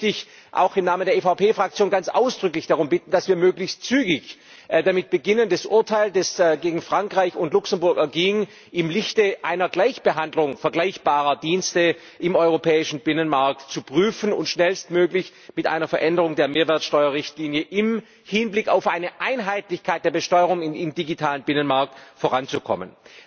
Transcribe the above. Deswegen möchte ich im Namen der EVP Fraktion ganz ausdrücklich darum bitten, dass wir möglichst zügig damit beginnen, das Urteil, das gegen Frankreich und gegen Luxemburg erging, im Lichte einer Gleichbehandlung vergleichbarer Dienste im europäischen Binnenmarkt zu prüfen und schnellstmöglich mit einer Veränderung der Mehrwertsteuerrichtlinie im Hinblick auf eine Einheitlichkeit der Besteuerung im digitalen Binnenmarkt voranzukommen.